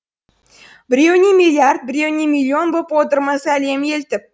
біреуіне миллиард біреуіне миллион боп отырмыз әлем елтіп